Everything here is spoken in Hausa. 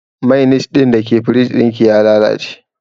Mainis ɗin da ke firij ɗin ki ya lalace